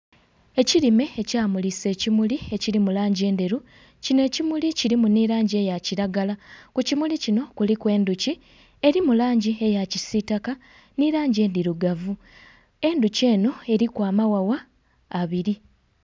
Ekirime ekyamulisa ekimuli ekiri mulangi endheru kino ekimuli kirimu ni langi eya kiragala kukimuli kino kuliku endhuki erimu langi eya kisitaka ni langi endhirugavu endhuki eno eriku emaghagha abiri.